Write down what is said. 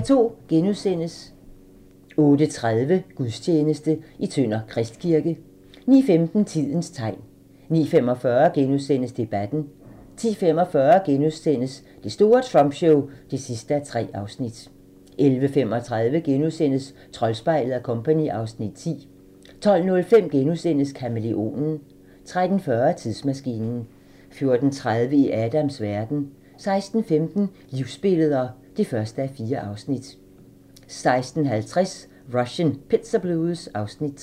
08:30: Gudstjeneste: Tønder Kristkirke * 09:15: Tidens tegn 09:45: Debatten * 10:45: Det store Trump show (3:3)* 11:35: Troldspejlet & Co. (Afs. 10)* 12:05: Kamæleonen * 13:40: Tidsmaskinen 14:30: I Adams verden 16:15: Livsbilleder (1:4) 16:50: Russian Pizza Blues (Afs. 3)